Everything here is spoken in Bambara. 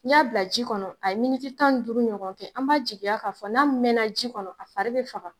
N'i y'a bila ji kɔnɔ a ye tan duuru ɲɔgɔn kɛ, an b'a jigiya k'a fɔ n'a mɛnna ji kɔnɔ a fari bi faga.